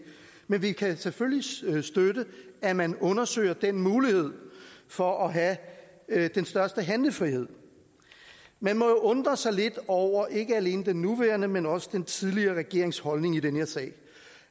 men vi kan selvfølgelig støtte at man undersøger den mulighed for at have den største handlefrihed man må jo undre sig lidt over ikke alene den nuværende men også den tidligere regerings holdning i den her sag